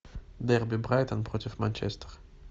дерби брайтон против манчестер